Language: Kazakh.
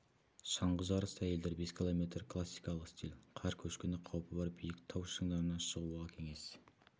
шаңғы жарысы әйелдер бес километр классикалық стиль қар көшкіні қауіпі бар биік тау шыңдарына шығуға кеңес